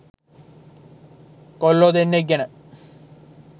කොල්ලෝ දෙන්නෙක් ගැන.